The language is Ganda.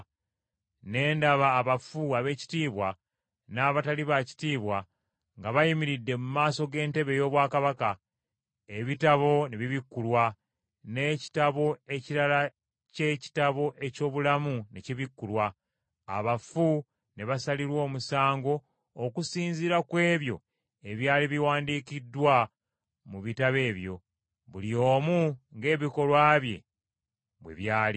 Ne ndaba abafu abeekitiibwa n’abatali baakitiibwa nga bayimiridde mu maaso g’entebe ey’obwakabaka. Ebitabo ne bibikkulwa, n’ekitabo ekirala ky’ekitabo eky’obulamu ne kibikkulwa. Abafu ne basalirwa omusango okusinziira ku ebyo ebyali biwandiikiddwa mu bitabo ebyo, buli omu ng’ebikolwa bye bwe byali.